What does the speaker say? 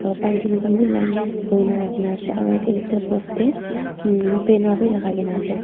baltin khan bhi line hoina rakhina ase aru yate post teh banner bhi lagai ke na ase.